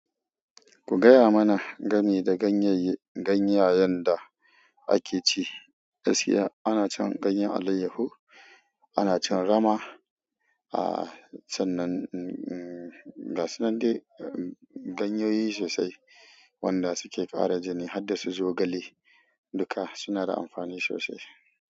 Ku gaya mana gami da ganyayen da akeci. Gaskiya anacin ganyen alayyahu, anacin rama. Aaa, sannan, umm, gasunan dai, umm, ganyoyi sosai wanda suke ƙara jini harda su zogale duka suna da amfani sosai.